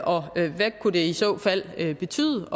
og hvad det i så fald kunne betyde